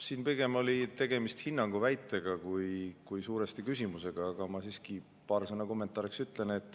Siin pigem oli tegemist hinnanguga, väitega, mitte küsimusega, aga ma siiski paar sõna kommentaariks ütlen.